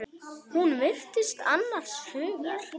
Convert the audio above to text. Hún virtist annars hugar.